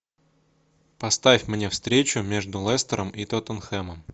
поставь мне встречу между лестером и тоттенхэмом